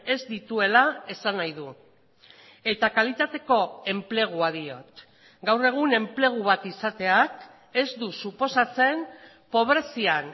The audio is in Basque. ez dituela esan nahi du eta kalitateko enplegua diot gaur egun enplegu bat izateak ez du suposatzen pobrezian